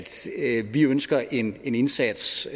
vi ønsker en indsats